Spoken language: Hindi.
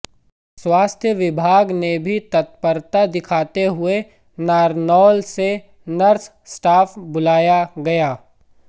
स्वास्थ्य विभाग ने भी तत्परता दिखाते हुए नारनौल से नर्स स्टाफ बुलाया गया